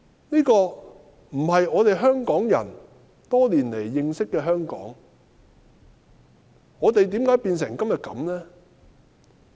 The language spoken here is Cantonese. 這並非我們香港人認識多年的香港，是甚麼緣故令香港變成今日這樣？